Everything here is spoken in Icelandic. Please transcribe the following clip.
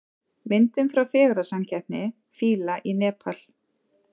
Myndir frá fegurðarsamkeppni fíla í Nepal